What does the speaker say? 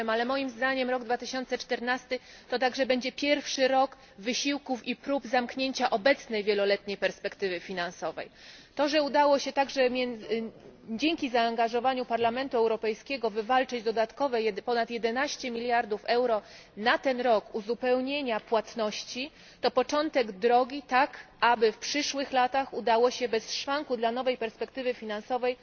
Owszem, ale moim zdaniem rok 2014 to także będzie pierwszy rok wysiłków i prób zamknięcia obecnej wieloletniej perspektywy finansowej. To, że udało się także dzięki zaangażowaniu Parlamentu Europejskiego wywalczyć dodatkowe ponad 11 miliardów euro uzupełnienia płatności na ten rok, to początek drogi, tak aby w przyszłych latach udało się bez szwanku dla nowej perspektywy finansowej